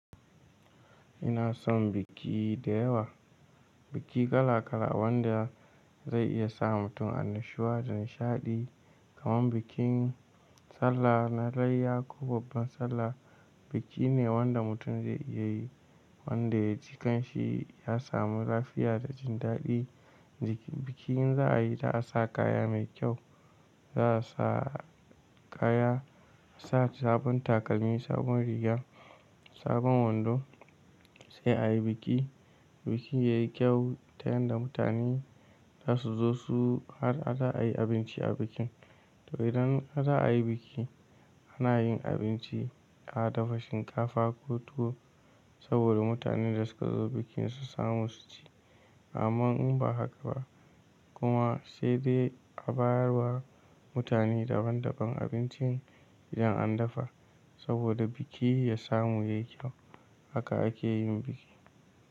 Ina son biki da yawa. Biki kala kala wanda zai iya sa mutum annashuwa da nishadi kaman bikin sallah na layya ko babban sallah. Biki ne wanda mutum zai iya yi wanda ya ji kanshi ya samu lafiya da jin dadi. Biki in za a yi za a sa kaya mai kyau, za a sa kaya, sa sabon takalmi, sabon riga, sabon wando sai a yi biki. Biki yayi kyau ta yanda mutane zasu zo su har a da a yi abinci a bikin. To idan a da a yi biki ana yin abinci, a dafa shinkafa ko tuwo saboda mutanen da suka zo bikin su samu su ci. Amman in ba haka ba kuma sai dai a bayar wa mutane daban daban abincin idan an dafa saboda biki ya samu yayi kyau. Haka ake yin biki.